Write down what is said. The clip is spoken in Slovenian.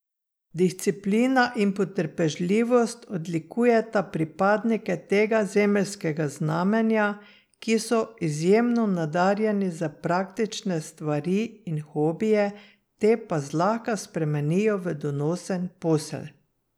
Disciplina in potrpežljivost odlikujeta pripadnike tega zemeljskega znamenja, ki so izjemno nadarjeni za praktične stvari in hobije, te pa zlahka spremenijo v donosen posel.